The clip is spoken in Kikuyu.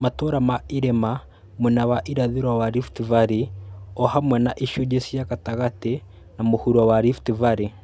Matũũra ma irĩma mwena wa irathĩro wa Rift Valley o hamwe na icunjĩ cia gatagatĩ na mũhuro wa Rift Valley.